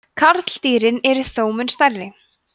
karldýrin eru þó mun stærri